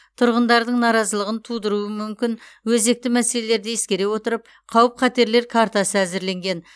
тұрғындардың наразылығын тудыруы мүмкін өзекті мәселелерді ескере отырып қауіп қатерлер картасы әзірленген